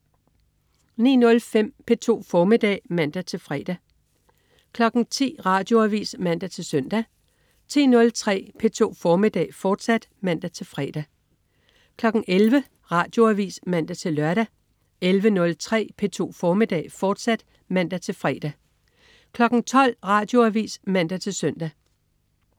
09.05 P2 formiddag (man-fre) 10.00 Radioavis (man-søn) 10.03 P2 formiddag, fortsat (man-fre) 11.00 Radioavis (man-lør) 11.03 P2 formiddag, fortsat (man-fre) 12.00 Radioavis (man-søn)